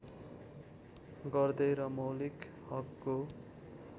गर्दै र मौलिक हकको